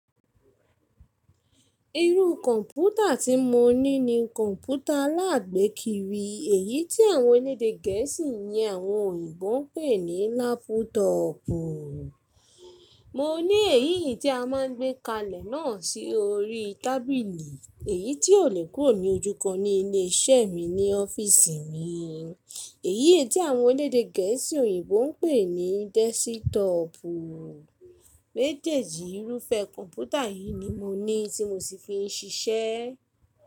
Irú kọ̀ǹpútà tí mo ní ni kọ̀ǹpútà alágbèékiri, èyí tí àwọn elédè gẹ̀ẹ́sì yẹn àwọn òyìnbó ń pè ní lápútọọ̀pù. Mo ní èyí yìí tí a máa ń gbé kalẹ̀ náà sí orí tábìlì, èyí tí ò lè kúrò ní ojúkan ní ilé iṣẹ́ mi ní ọ́fíìsì mi, èyí è tí àwọn elédè gẹ̀ẹ́sì òyìnbó ń pè ní dẹ́sítọọ̀pù. Méjèèjì irúfẹ́ kọ̀ǹpútà yìí ni mo ní tí mo sì fi ń ṣiṣẹ́.